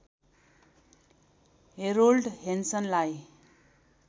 Harold हेन्सनलाई